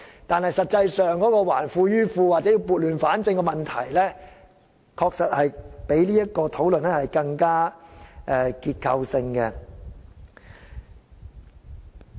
但是，說到"還富於富"或撥亂反正，問題確實較我們現時討論的事情更為結構性。